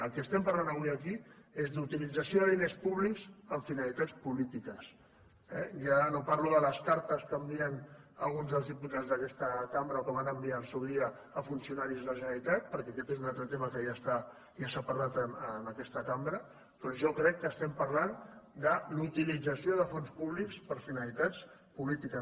del que estem parlant avui aquí és d’utilització de diners públics amb finalitats polítiques eh ja no parlo de les cartes que envien a alguns dels diputats d’aquesta cambra o que van enviar al seu dia a funcionaris de la generalitat perquè aquest és un altre tema que ja s’ha parlat en aquesta cambra però jo crec que estem parlant de la utilització de fons públics amb finalitats polítiques